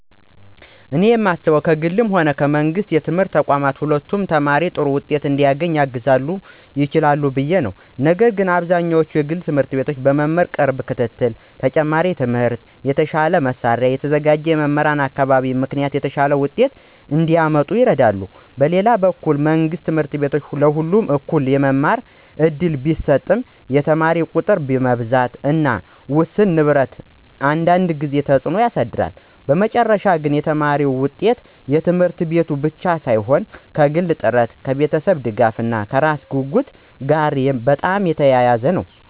እኔ የማስበው ከግልም ሆነ ከመንግሥት የትምህርት ተቋማት ሁለቱም ተማሪ ጥሩ ውጤት እንዲያገኝ ሊያግዙ ይችላሉ ብዬ ነው፤ ነገር ግን በአብዛኛው የግል ት/ቤቶች በመምህራን ቅርብ ክትትል፣ ተጨማሪ ትምህርት፣ የተሻለ መሳሪያ እና የተዘጋጀ የመማር አካባቢ ምክንያት የተሻለ ውጤት እንዲያመጡ ይረዳሉ። በሌላ በኩል መንግሥት ት/ቤቶች ለሁሉም እኩል የመማር እድል ቢሰጡም የተማሪ ቁጥር ብዛት እና ውስን ንብረት አንዳንድ ጊዜ ተጽዕኖ ያሳድራሉ። በመጨረሻ ግን የተማሪ ውጤት ከት/ቤቱ ብቻ ሳይሆን ከግል ጥረት፣ ከቤተሰብ ድጋፍ እና ከራሱ ጉጉት ጋር በጣም የተያያዘ ነው።